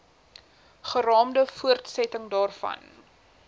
geraamde voortsetting daarvan